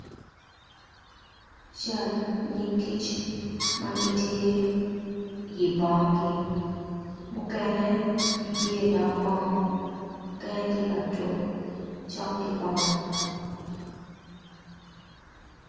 Cal nyig kic magitye i bong gi mukene gitye i dog bong mukene tye katuk cok ki bong.